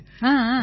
ஆமாம் ஆமாம்